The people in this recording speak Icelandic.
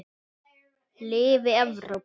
Lifi Evrópa.